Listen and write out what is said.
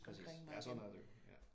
Præcis. Ja sådan er det jo